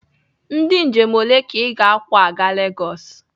Ndị njem ole ka ị ga-akwọ aga Legosi?